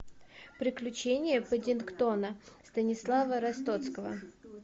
приключения паддингтона станислава ростоцкого